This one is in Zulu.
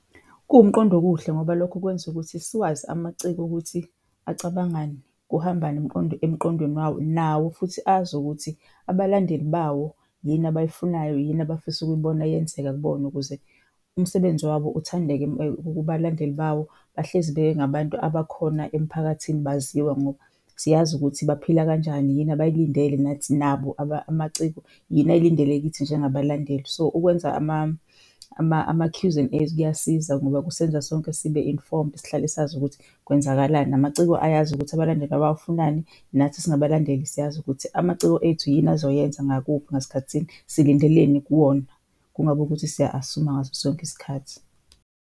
Kuwumqondo okuhle ngoba lokho kwenza ukuthi siwazi amaciko okuthi acabangani, kuhambani emqondweni wawo nawo futhi azi ukuthi abalandeli bawo yini abayifunayo, yini abafisa ukuyibona yenzeka kubona ukuze umsebenzi wabo uthandeke kubalandeli bawo. Bahlezi bengabantu abakhona emiphakathini baziwa ngoba siyazi ukuthi baphila kanjani, yini abayilindele, nathi, nabo amaciko yini ayilindele kithi njengabalandeli. So ukwenza ama-Qs and As kuyasiza ngoba kusenza sonke sibe-informed, sihlale sazi ukuthi kwenzakalani. Namaciko ayazi ukuthi abalandeli babo bafunani, nathi singabalandeli siyazi ukuthi amaciko ethu yini azoyenza ngakuphi, ngasikhathi sini, silindeleni kuwona, kungaba ukuthi siya-assume-a ngaso sonke isikhathi.